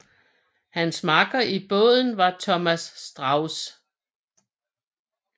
Hans makker i båden var Thomas Strauß